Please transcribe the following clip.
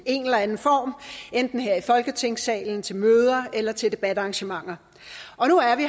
en eller anden form enten her i folketingssalen til møder eller til debatarrangementer og nu er vi